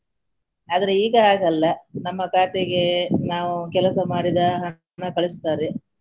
ಆದರೆ ಈಗ ಹಾಗಲ್ಲ ನಮ್ಮ ಖಾತೆಗೆ ನಾವು ಕೆಲಸ ಮಾಡಿದ ಹಣ ಕಳಿಸುತ್ತಾರೆ.